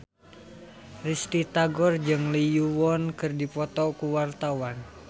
Risty Tagor jeung Lee Yo Won keur dipoto ku wartawan